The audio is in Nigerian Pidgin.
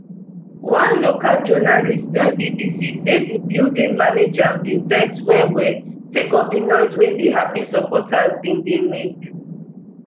one local journalist tell bbc say di building manager bin vex wellwell sake of di noise wey di happy supporters bin dey make